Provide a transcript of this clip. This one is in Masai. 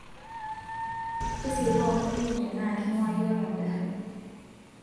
tasieku amu kimutie naa king'uaa iyiok eng'arri